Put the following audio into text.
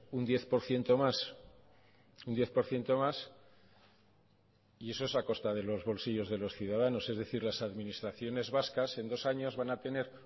un diez por ciento más un diez por ciento más y eso es a costa de los bolsillos de los ciudadanos es decir las administraciones vascas en dos años van a tener